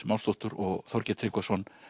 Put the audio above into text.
Másdóttur og Þorgeir Tryggvason